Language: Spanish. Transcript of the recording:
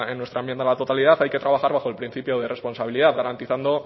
en nuestra enmienda a la totalidad hay que trabajar bajo el principio de responsabilidad garantizando